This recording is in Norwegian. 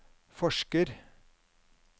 forsker